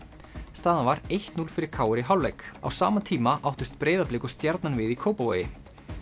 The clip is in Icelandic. staðan var eitt til núll fyrir k r í hálfleik á sama tíma áttust Breiðablik og Stjarnan við í Kópavogi